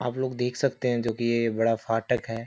आप लोग देख सकते हैं जो की ये बड़ा फाटक हैं।